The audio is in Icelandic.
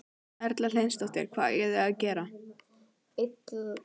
Erla Hlynsdóttir: Hvað eiga þau að gera?